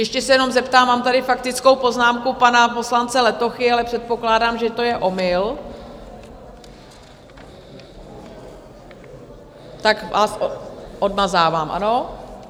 Ještě se jenom zeptám, mám tady faktickou poznámku pana poslance Letochy, ale předpokládám, že to je omyl, tak vás odmazávám, ano?